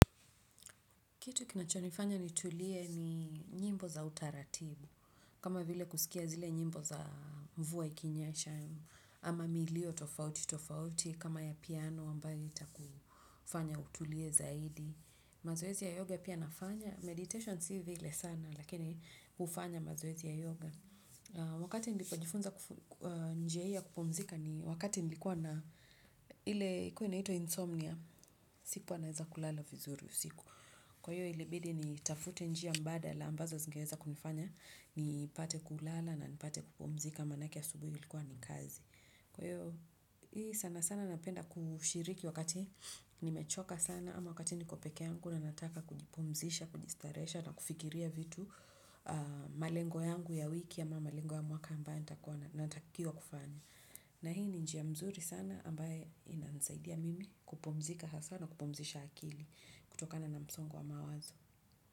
Kitu kinachonifanya nitulie ni nyimbo za utaratibu. Kama vile kusikia zile nyimbo za mvua ikinyesha. Ama milio tofauti tofauti kama ya piano ambayo itakufanya utulie zaidi. Mazoezi ya yoga pia nafanya. Meditation si vile sana. Lakini hufanya mazoezi ya yoga wakati nilipojifunza njia hii ya kupumzika ni wakati nilikuwa na ile ilikuwa inaitwa insomnia. Sikuwa naweza kulala vizuri usiku. Kwa hiyo ilibidi nitafute njia mbadala ambazo zingeweza kunifanya nipate kulala na nipate kupumzika maanake asubuhi ilikuwa ni kazi. Kwa hiyo hii sana sana napenda kushiriki wakati nimechoka sana ama wakati niko peke yangu na nataka kujipumzisha, kujistarehesha na kufikiria vitu malengo yangu ya wiki ama malengo ya mwaka ambayo natakiwa kufanya. Na hii ni njia mzuri sana ambayo inanisaidia mimi kupumzika haswa na kupumzisha akili kutokana na msongo wa mawazo.